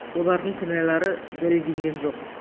олардың кінәлары дәлелденген жоқ